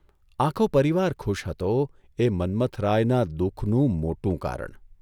આખો પરિવાર ખુશ હતો એ મન્મથરાયના દુઃખનું મોટું કારણ!